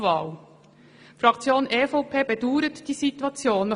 Die Fraktion EVP bedauert diese Situation.